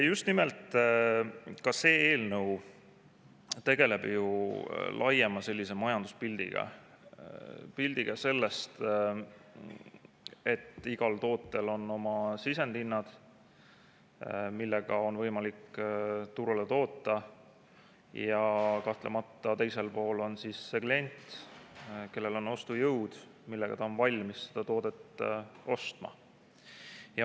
See eelnõu tegeleb ju laiema majanduspildiga – pildiga sellest, et igal tootel on oma sisendhinnad, millega on võimalik turule toota, ja kahtlemata teisel pool on klient, kellel on ostujõud, millega ta on valmis seda toodet ostma.